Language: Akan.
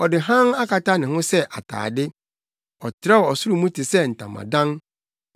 Ɔde hann akata ne ho sɛ atade; ɔtrɛw ɔsoro mu te sɛ ntamadan,